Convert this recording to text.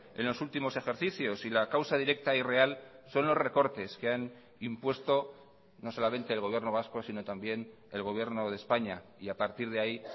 en los últimos ejercicios y la causa directa y real son los recortes que han impuesto no solamente el gobierno vasco sino también el gobierno de españa y a partir de ahí